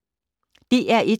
DR1